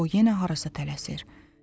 O yenə harasa tələsir.